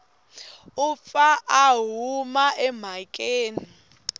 u pfa a huma emhakeni